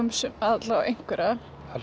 alla vega einhverra